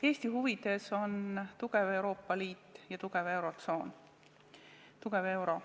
Eesti huvides on tugev Euroopa Liit ja tugev eurotsoon, tugev euro.